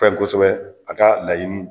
Pɛrɛn kosɛbɛ a ka laɲini